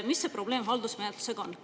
Mis see probleem haldusmenetlusega on?